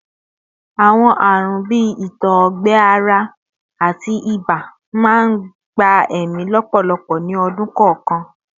Awọn arun bii itọ-ọgbẹ-ara ati iba n gba ẹmi lọpọlọpọ ni ọdun kọọkan